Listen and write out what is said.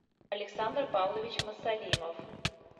александр павлович масалимов